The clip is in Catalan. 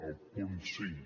el punt cinc